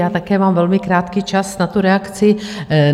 Já mám také velmi krátký čas na tu reakci.